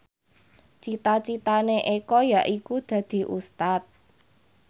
cita citane Eko yaiku dadi Ustad